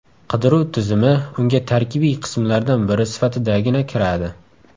Qidiruv tizimi unga tarkibiy qismlardan biri sifatidagina kiradi.